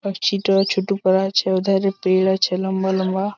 পাখছিটো ছুটু পরে আছে উদ্ধার পের আছে লম্বা লম্বা ।